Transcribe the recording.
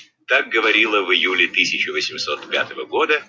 как говорила в июле